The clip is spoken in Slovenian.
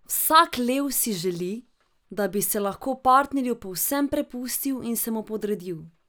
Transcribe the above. Vsak lev si želi, da bi se lahko partnerju povsem prepustil in se mu podredil.